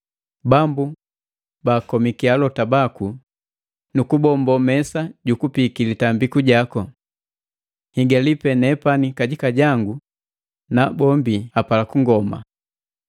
“Bambu, baakomiki alota baku nu kubombo mesa jukupiiki litambiku jaku. Nhigali pe nepani kajika jangu, nabombi apala kungoma!”